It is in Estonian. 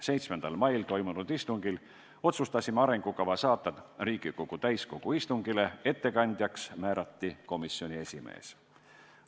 7. mail toimunud istungil otsustasime arengukava saata Riigikogu täiskogu istungile, ettekandjaks määrati komisjoni esimees.